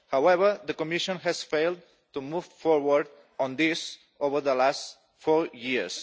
However, the Commission has failed to move forward on this over the last four years.